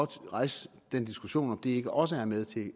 rejse den diskussion om det egentlig ikke også er med til i